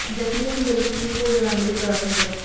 ਜ਼ਖਮੀਆਂ ਦੀ ਜਲਦੀ ਠੀਕ ਹੋ ਜਾਣ ਲਈ ਪ੍ਰਾਰਥਨਾ ਕਰੋ